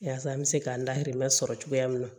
Yaasa an bɛ se k'an lahirila sɔrɔ cogoya min na